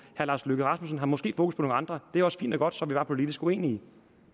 herre lars løkke rasmussen har måske fokus på nogle andre det er også fint og godt så er vi bare politisk uenige